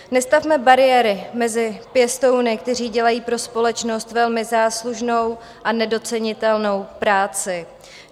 Nestavme bariéry mezi pěstouny, kteří dělají pro společnost velmi záslužnou a nedocenitelnou práci.